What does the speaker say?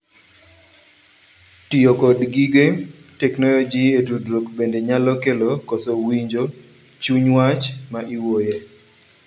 Tiyo kod gige tek noyoji e tudruok bende nyalo kelo koso winjo chuny wach ma iwuoye.